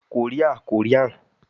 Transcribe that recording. Korea- Korean